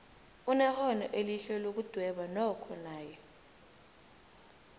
unekghono elihle lokudweba nokho yena